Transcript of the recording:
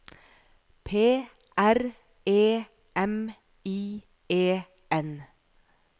P R E M I E N